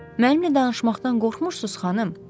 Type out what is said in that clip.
Mənimlə danışmaqdan qorxmursuz, xanım?